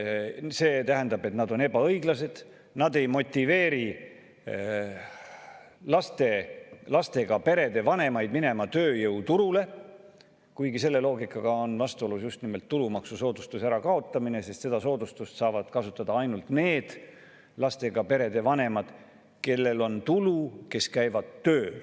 See tähendab, et need on ebaõiglased, need ei motiveeri lastega perede vanemaid minema tööjõuturule, kuigi see loogika on vastuolus just nimelt tulumaksusoodustuse ärakaotamisega, sest seda soodustust saavad kasutada ainult need lastega perede vanemad, kellel on tulu, kes käivad tööl.